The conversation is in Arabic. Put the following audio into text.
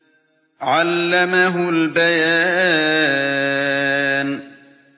عَلَّمَهُ الْبَيَانَ